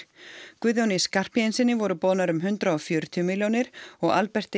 Guðjóni Skarphéðinssyni voru boðnar um hundrað og fjörutíu milljónir og Alberti